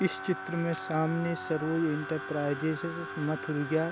इस चित्र में सामने सरोज इंटरप्राइजेज मथुरिया --